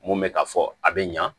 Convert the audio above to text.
Mun bɛ ka fɔ a bɛ ɲa